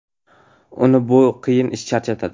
Uni bu qiyin ish charchatadi.